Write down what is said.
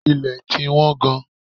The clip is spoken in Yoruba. Ilẹ̀ ti wọ́n gan.